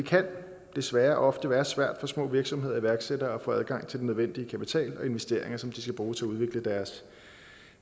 kan desværre ofte være svært for små virksomheder og iværksættere at få adgang til både den nødvendige kapital og investeringer som de skal bruge til at udvikle deres